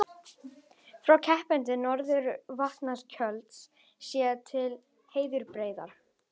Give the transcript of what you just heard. Frá Krepputungu, norðan Vatnajökuls, séð til Herðubreiðar.